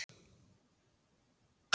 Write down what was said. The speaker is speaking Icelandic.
Málin tengjast ekki.